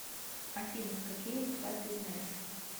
афина какие литва ты знаешь